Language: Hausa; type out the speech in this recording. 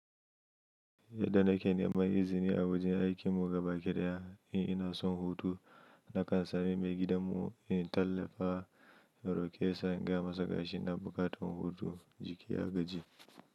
Yadda nake neman izini a wajen aikin mu gabaki daya in ina son hutu, na kan same mai gidan mu in tallafa, in rokesa in gaya masa ƙashi ina buƙatan hutu, jiki ya gaji.